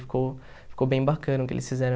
Ficou ficou bem bacana o que eles fizeram.